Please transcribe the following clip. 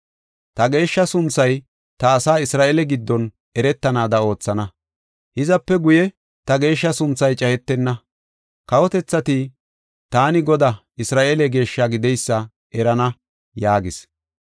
Ta geeshsha sunthay ta asaa Isra7eele giddon eretanaada oothana. Hizape guye ta geeshsha sunthay cayetena. Kawotethati taani Godaa, Isra7eele Geeshshaa gideysa erana” yaagis.